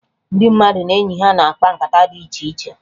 Ndị mmadụ na enyi ha na-akpa nkata dị iche iche